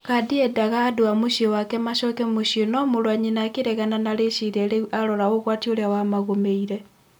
Kadi endaga andũ a-mũciĩ wake macoke mũciĩ no-mũrũwanyina akĩregana na-rĩciria rĩũ arora ũgwati urĩa wa-magũmĩire.